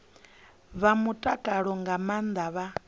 wa mutakalo nga maana vha